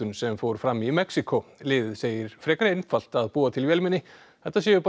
sem fór fram í Mexíkó liðið segir frekar einfalt að búa til vélmenni þetta séu bara